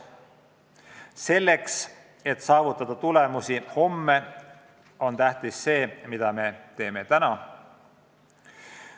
Selleks, et saavutada tulemusi homme, on tähtis see, mida me teeme täna.